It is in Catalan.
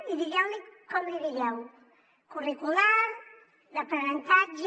i digueu li com li digueu curricular d’aprenentatge